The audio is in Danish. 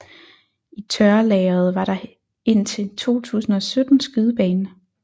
I tørrelageret var der indtil 2017 skydebane